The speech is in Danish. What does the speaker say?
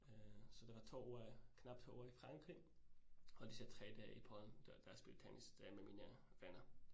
Øh så det var 2 uger knap 2 uger i Frankrig og disse 3 dage i Polen, da da jeg spillede tennis der med mine venner